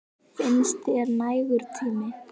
Finnst þér það nægur tími?